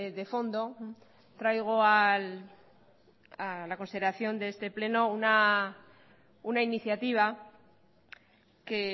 de fondo traigo a la consideración de este pleno una iniciativa que